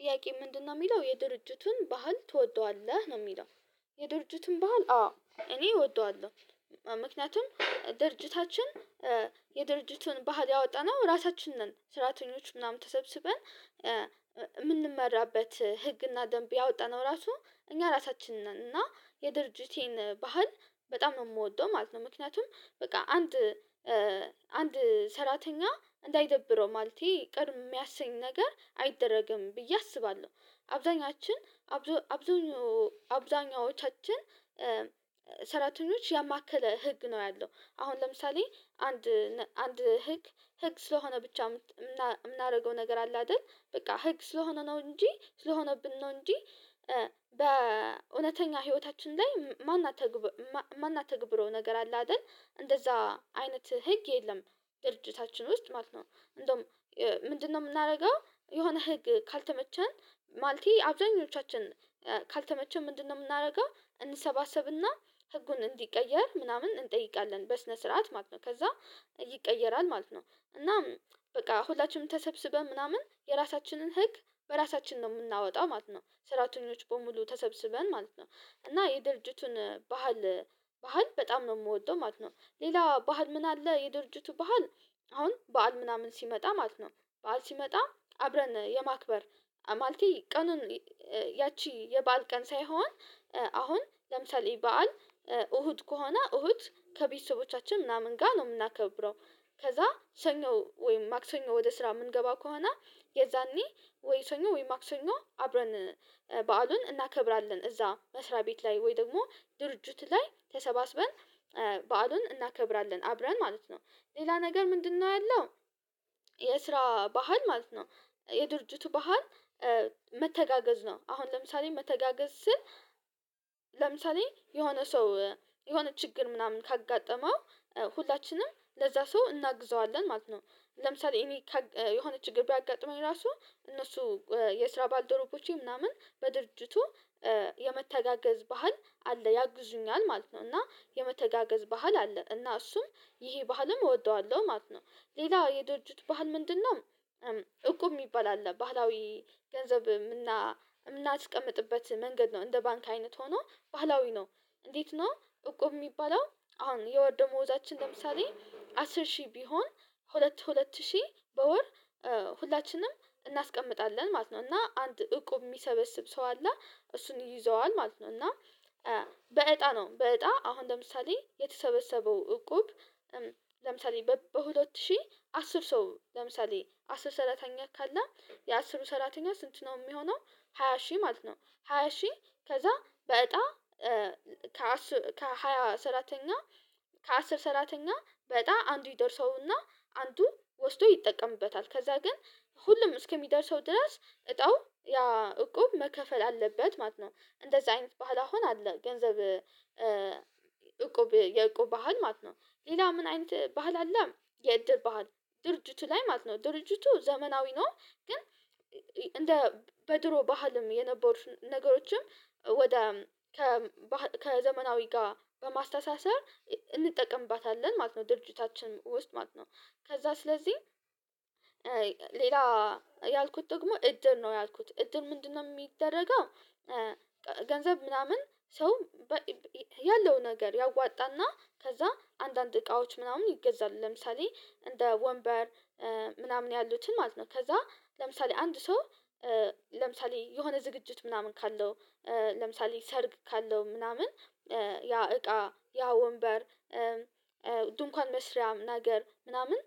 ጥያቄ ምንድነው የሚለው የድርጅቱን ባህል ትወደዋለህ ነው የሚለው የድርጅቱን ባህል አዌ እኔ እወደዋለሁ ምክንያቱም ድርጅታችን የድርጅቱን ባህል ያወጣነው ራሳችን ነን ስራተኞች ምናምን ተሰብስበን የምንመራበት ህግና ደንብ ያወጣነው ራሱ እኛ ራሳችንን እና የድርጅቴን ባህል በጣም ነው የምወደው ማለት ነው ምክንያቱም በቃ አንድ አንድ ሰራተኛ እንዳይደብረው ማለቴ ቅር የሚያሰኝ ነገር አይደረግም ብዬ አስባለሁ አብዛኛችን አብዛኞቻችን ሰራተኞች ያማከለ ህግ ነው ያለው አሁን ለምሳሌ አንድ አንድ ህግ ህግ ስለሆነ ብቻ የምናደርገው ነገር አለ አይደል በቃ ህግ ስለሆነ ነው እንጂ ስለሆነብን ነው እንጂ በእውነተኛ ህይወታችን ላይ ማን አትግብረው ነገር አለ አይደል እንደዛ አይነት ህግ የለም ድርጅታችን ውስጥ ማለት ነው እንደውም ምንድነው የምናደርገው የሆነ ህግ ካልተመቸን ማለቴ አብዛኞቻችን ካልተመቸን ምንድነው የምናደርገው እንሰባሰብና ህጉን እንዲቀየር ምናምን እንጠይቃለን በስነ ስርዓት ማለት ነው ከዛ ይቀየራል ማለት ነው እናም በቃ ሁላችንም ተሰብስበን ምናምን የራሳችንን ህግ በራሳችን ነው የምናወጣ ማለት ነው ስራተኞች በሙሉ ተሰብስበን ማለት ነው እና የድርጅቱን ባህል ባህል በጣም ነው የምወደው ማለት ነው። ሌላ ባህል ምን አለ የድርጅቱ በዓል አሁን በዓል ምናምን ሲመጣ ማለት ነው በዓል ሲመጣ አብረን የማክበር ማለቴ ቀኑን ያቺ የባል ቀን ሳይሆን አሁን ለምሳሌ በዓል እሁድ ከሆነ እሁድ ከቤተሰቦቻችን ምናምን ጋር ነው የምናከብረው ከዛ ሰኞ ወይም ማክሰኞ ወደ ስራ የምንገባ ከሆነ የዛኔ ወይሰኞ ወይም ማክሰኞ አብረን በዓሉን እናከብራለን እዛ መስሪያ ቤት ላይ ወይ ደግሞ ድርጅቱ ላይ ተሰባስበን በዓሉን እናከብራለን አብረን ማለት ነው ሌላ ነገር ምንድነው ያለው የስራ ባህል ማለት ነው የድርጅቱ ባህል መተጋገዝ ነው አሁን ለምሳሌ መተጋገዝ ስል ለምሳሌ የሆነ ሰው የሆነ ችግር ምናምን ካጋጠመው ሁላችንም ለዛ ሰው እናግዘዋለን ማለት ነው ለምሳሌ እኔ የሆነች ችግር ቢያጋጠመኝ ራሱ እነሱ የስራ ባልደረቦቼ ምናምን በድርጅቱ የመተጋገዝ ባህል አለ ያግዙኛል ማለት ነው እና የመተጋገዝ ባህል አለ እና እሱም ይሄ ባህልም እወደዋለሁ ማለት ነው። ሌላ የደጅት ባህል ምንድነው እቁብ የሚባል አለ ባህላዊ ገንዘብ የምናስቀምጥበት መንገድ ነው እንደ ባንክ አይነት ሆኖ ባህላዊ ነው እንዴት ነው እቁብ የሚባለው አሁን የወርደሞዛችን ለምሳሌ አስር ሺህ ቢሆን ሁለት ሁለት ሺህ በወር ሁላችንም እናስቀምጣለን ማለት ነው እና አንድ እቁብ የሚሰበስብ ሰው አለ እሱን ይዘዋል ማለት ነው እና በእጣ ነው በእጣ አሁን ለምሳሌ የተሰበሰበው እቁብ ለምሳሌ በሁለት ሺህ አስር ሰው ለምሳሌ አስር ሰራተኛ ካለ የአስሩ ሰራተኛ ስንት ነው የሚሆነው ሃያ ሺህ ማለት ነው ሃያ ሺህ ከዛ በእጣ ከሃያ ሰራተኛ ከአስር ሰራተኛ በእጣ አንዱ ይደርሰውና አንዱ ወስዶ ይጠቀምበታል ከዛ ግን ሁሉም እስከሚደርሰው ድረስ እጣው ያ እቁብ መከፈል አለበት ማለት ነው እንደዚህ አይነት ባህል አሁን አለ ገንዘብ እቁብ የእቁብ ባህል ማለት ነው ሌላ ምን አይነት ባህል አለ የእድር ባህል ድርጅቱ ላይ ማለት ነው ድርጅቱ ዘመናዊ ነው ግን እንደ በድሮ ባህልም የነበሩት ነገሮችም ወደ ከዘመናዊ ጋር በማስተሳሰር እንጠቀምባታለን ማለት ነው ድርጅታችን ውስጥ ማለት ነው ከዛ ስለዚህ ሌላ ያልኩት ደግሞ እድር ነው ያልኩት እድር ምንድነው የሚደረገው ገንዘብ ምናምን ሰው ያለው ነገር ያዋጣና ከዛ አንዳንድ እቃዎች ምናምን ይገዛል ለምሳሌ እንደ ወንበር ምናምን ያሉትን ማለት ነው ከዛ ለምሳሌ አንድ ሰው ለምሳሌ የሆነ ዝግጅት ምናምን ካለው ለምሳሌ ሰርግ ካለው ምናምን ያ እቃ ያ ወንበር ድንኳን መስሪያ ነገር ምናምን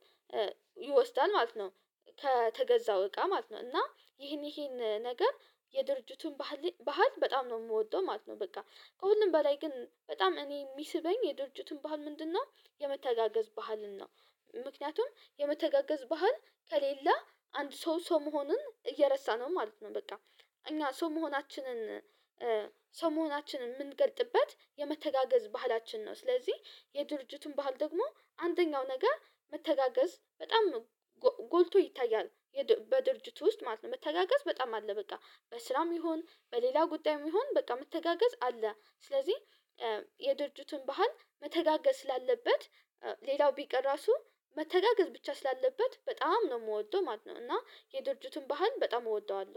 ይወስዳል ማለት ነው ከተገዛው እቃ ማለት ነው እና ይሄን ይሄን ነገር የድርጅቱን ባህል በጣም ነው የምወደው ማለት ነው በቃ ከሁሉም በላይ ግን በጣም እኔ የሚስበኝ የድርጅቱን ባህል ምንድነው የመተጋገዝ ባህልን ነው ምክንያቱም የመተጋገዝ ባህል ከሌለ አንድ ሰው ሰው መሆኑን እየረሳነው ማለት ነው በቃ እኛ ሰው መሆናችንን ሰው መሆናችንን የምንገልጥበት የመተጋገዝ ባህላችን ነው ስለዚህ የድርጅቱን ባህል ደግሞ አንደኛው ነገር መተጋገዝ በጣም ጎልቶ ይታያል በድርጅቱ ውስጥ ማለት ነው መተጋገዝ በጣም አለ በቃ በስራም ይሁን በሌላ ጉዳይም ይሁን በቃ መተጋገዝ አለ ስለዚህ የድርጅቱን ባህል መተጋገዝ ስላለበት ሌላው ቢቀር ራሱ መተጋገዝ ብቻ ስላለበት በጣም ነው የምወደው ማለት ነው እና የድርጅቱን ባህል በጣም እወደዋለሁ